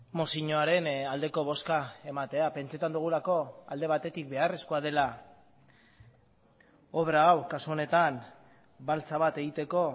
mozioaren aldeko bozka ematea pentsatzen dugulako alde batetik beharrezkoa dela obra hau kasu honetan baltsa bat egiteko